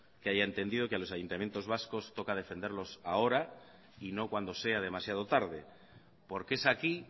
que haya entendido que los ayuntamientos vascos toca defenderlos ahora y no cuando sea demasiado tarde porque es aquí